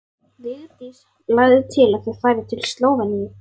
Vigdís lagði til að þau færu til Slóveníu.